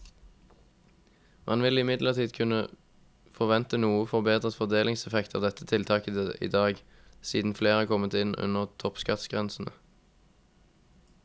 Man vil imidlertid kunne forvente noe forbedret fordelingseffekt av dette tiltaket i dag, siden flere er kommet inn under toppskattgrensene.